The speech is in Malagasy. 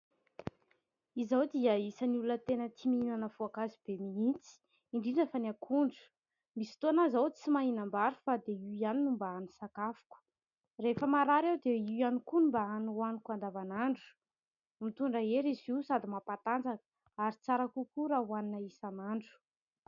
Izaho dia isan'ny olona tia mihinana voankazo be mihitsy, indrindra fa ny akondro. Misy fotoana aho izao tsy mahinam-bary fa dia io ihany no mba hany sakafoko. Rehefa marary aho dia io koa no mba hany hohaniko andavan'andro. Mitondra hery izy io sady mampatanjaka ary tsara kokoa raha hohanina isan'andro.